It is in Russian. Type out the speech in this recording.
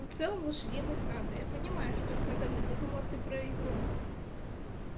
но в целом лошадей мыть надо я понимаю что их надо мыть я думала ты про игру